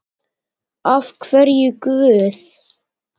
Af hverju Guð?